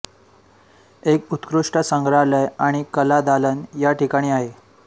एक उत्कृष्ट संग्रहालय आणि कला दालन या ठिकाणी आहे